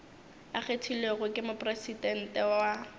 a kgethilwego ke mopresidente wa